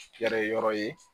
Kɛlɛ yɔrɔ ye